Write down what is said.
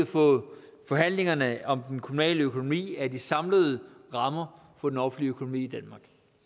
for forhandlingerne om den kommunale økonomi er de samlede rammer for den offentlige økonomi